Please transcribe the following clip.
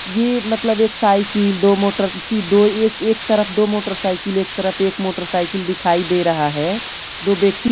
ये मतलब एक साइकिल दो मोटर दो एक एक तरफ दो मोटरसाइकिल एक तरफ एक मोटरसाइकिल दिखाई दे रहा है दो व्यक्ति--